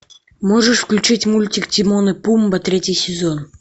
можешь включить мультик тимон и пумба третий сезон